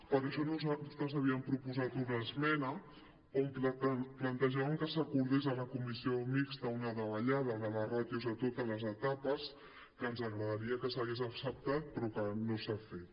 per això nosaltres havíem proposat una esmena en què plantejàvem que s’acordés a la comissió mixta una davallada de les ràtios a totes les etapes que ens agradaria que s’hagués acceptat però que no s’ha fet